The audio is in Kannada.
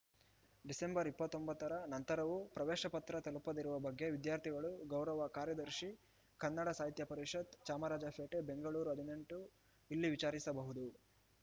ಡಿಸೆಂಬರ್ ಇಪ್ಪತ್ತೊಂಬತ್ತರ ನಂತರವೂ ಪ್ರವೇಶ ಪತ್ರ ತಲುಪದಿರುವ ಬಗ್ಗೆ ವಿದ್ಯಾರ್ಥಿಗಳು ಗೌರವ ಕಾರ್ಯದರ್ಶಿ ಕನ್ನಡ ಸಾಹಿತ್ಯ ಪರಿಷತ್‌ ಚಾಮರಾಜಪೇಟೆ ಬೆಂಗಳೂರು ಹದಿನೆಂಟು ಇಲ್ಲಿ ವಿಚಾರಿಸಬಹುದು